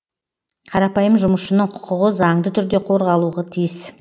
қарапайым жұмысшының құқығы заңды түрде қорғалуы тиіс